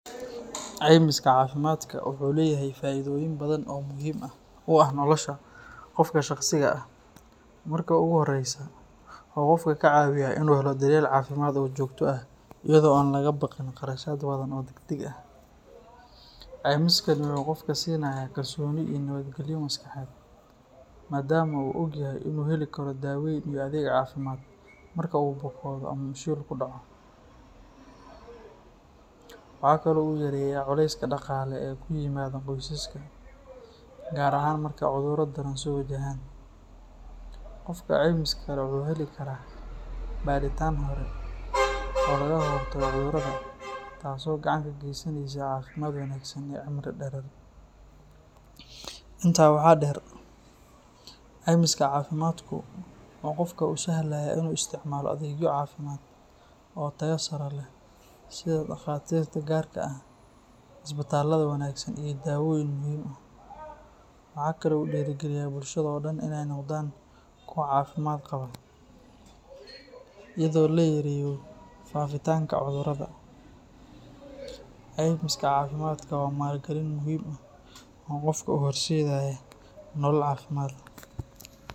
Ceymiska caafimaadka wuxuu leeyahay faa’iidooyin badan oo muhiim u ah nolosha qofka shaqsiga ah. Marka ugu horreysa, wuxuu qofka ka caawiyaa inuu helo daryeel caafimaad oo joogto ah iyada oo aan laga baqin kharashaad badan oo degdeg ah. Ceymiskani wuxuu qofka siinayaa kalsooni iyo nabadgelyo maskaxeed, maadaama uu ogyahay inuu heli karo daaweyn iyo adeeg caafimaad marka uu bukoodo ama uu shil ku dhaco. Waxa kale oo uu yareeyaa culayska dhaqaale ee ku yimaada qoysaska, gaar ahaan marka cudurro daran soo wajahaan. Qofka ceymiska leh wuxuu heli karaa baadhitaan hore oo lagaga hortago cudurrada, taas oo gacan ka geysanaysa caafimaad wanaagsan iyo cimri dherer. Intaa waxaa dheer, ceymiska caafimaadku wuxuu qofka u sahlayaa in uu isticmaalo adeegyo caafimaad oo tayo sare leh sida takhaatiirta gaarka ah, isbitaallada wanaagsan iyo daawooyin muhiim ah. Waxa kale oo uu dhiirrigeliyaa bulshada oo dhan in ay noqdaan kuwo caafimaad qaba, iyadoo la yareeyo faafitaanka cudurrada. Ceymiska caafimaadka waa maalgelin muhiim ah oo qofka u horseedaysa nolol caafimaad